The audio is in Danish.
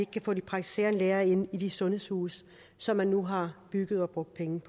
kan få de praktiserende læger ind i de sundhedshuse som man nu har bygget og brugt penge